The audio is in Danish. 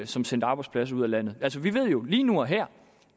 som sendte arbejdspladser ud af landet vi ved jo lige nu og her